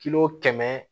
Kilo kɛmɛ